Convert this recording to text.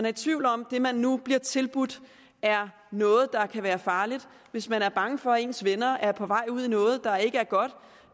i tvivl om at det man nu bliver tilbudt er noget der kan være farligt hvis man er bange for at ens venner er på vej ud i noget der ikke